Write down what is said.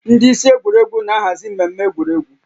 Ndị isi egwuregwu na-ahazi mmemme egwuregwu